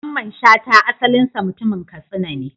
Mamman Shata asalinsa mutumin Katsina ne.